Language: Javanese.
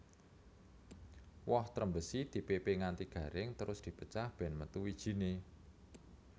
Woh Trembesi dipépé nganti garing terus dipecah bèn metu wijiné